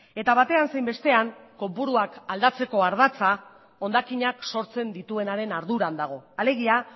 eta batean zein bestean kopuruak aldatzeko ardatza hondakinak sortzen dituenaren arduran dago alegia